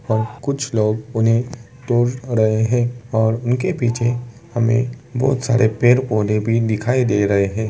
और कुछ लोग उन्हे तोड़ रहे हैं और उनके पीछे हमें बोहोत सारे पड़े पौधे भी दिखाई दे रहे हैं ।